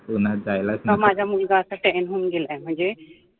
उन्हात जायलाच नको का माझा मुलगा असा time होऊन गेलाय